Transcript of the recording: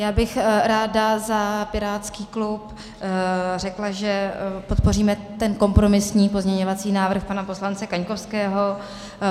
Já bych ráda za pirátský klub řekla, že podpoříme ten kompromisní pozměňovací návrh pana poslance Kaňkovského.